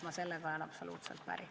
Ma sellega olen absoluutselt päri.